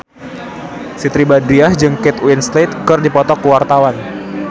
Siti Badriah jeung Kate Winslet keur dipoto ku wartawan